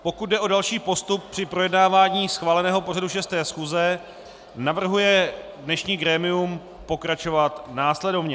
Pokud jde o další postup při projednávání schváleného pořadu 6. schůze, navrhuje dnešní grémium pokračovat následovně: